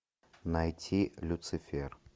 найти люцифер